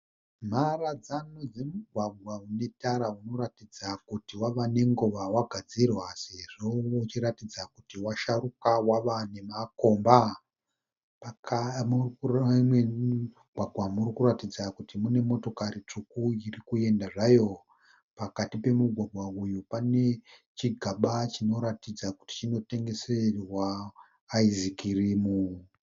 Mharadzano dzemigwagwa unetara unoratidza kuti wava nenguva wagadzirwa sezvo ichiratidza kuti washaruka wava nemakomba. Mumugwagwa umu murikuratidza kuti mune motokari tsvuku irikuenda zvayo. Pakati pemugwagwa uyu pane chigaba chinoratidza kuti chinotengeserwa ayisikirimu.